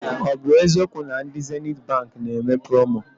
Ọ bụ eziokwu na ndị Zenithi Baankị na eme promo?